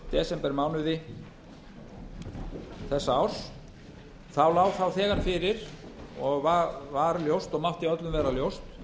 desembermánuði þessa árs lá það þegar fyrir og var ljóst og mátti öllum vera ljóst